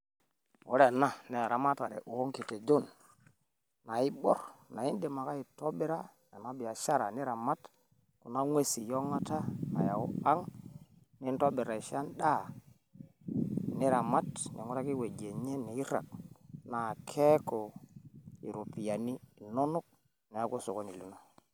Ore enaa naa eramatara o nkitojon naibwaar naa idiim ake aitobiraa enaa biaashara niramaat kuna kweesi ong'ata naeyau aang' nintoibir ashoo endaa niramaat ning'uraaki wueji enye neiraag' naa keaku ropiani inonok naeku sokoni linoo.